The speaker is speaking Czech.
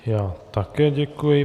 Já také děkuji.